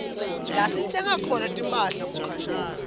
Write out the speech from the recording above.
lasitsenga khona timphahla kukhashane